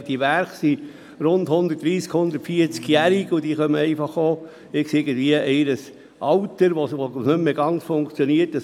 Nun sind diese Werke rund 130-, 140-jährig, und sie kommen in ein Alter, wo sie nicht mehr ganz funktionieren.